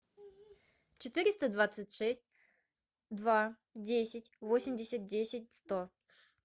четыреста двадцать шесть два десять восемьдесят десять сто